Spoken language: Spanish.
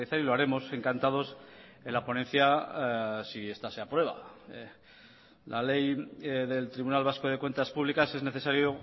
y lo haremos encantados en la ponencia si esta se aprueba la ley del tribunal vasco de cuentas públicas es necesario